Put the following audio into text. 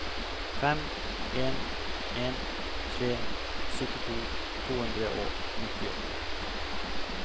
fem en en tre syttito to hundre og nittiåtte